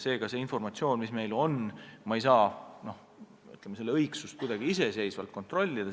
Meil on mingi informatsioon, aga me ei saa selle õigsust iseseisvalt kuidagi kontrollida.